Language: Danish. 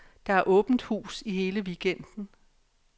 Der er åbent hus i hele weekenden.